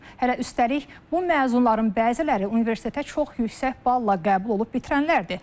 Hələ üstəlik, bu məzunların bəziləri universitetə çox yüksək balla qəbul olub bitirənlərdir.